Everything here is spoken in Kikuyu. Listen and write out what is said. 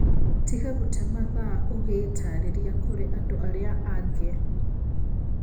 Tiga gũtee mathaa ugĩitarĩria kũrĩ andũ arĩa angĩ